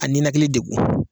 A ninakili degun